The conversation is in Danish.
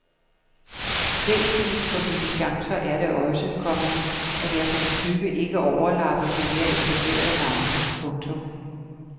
Væsentligt for mine chancer er det også, komma at jeg som type ikke overlapper de mere etablerede navne. punktum